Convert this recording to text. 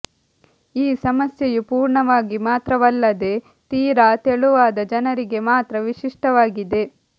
ಈ ಸಮಸ್ಯೆಯು ಪೂರ್ಣವಾಗಿ ಮಾತ್ರವಲ್ಲದೇ ತೀರಾ ತೆಳುವಾದ ಜನರಿಗೆ ಮಾತ್ರ ವಿಶಿಷ್ಟವಾಗಿದೆ